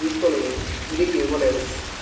తీసుకుని తిరిగి ఇవ్వలేదు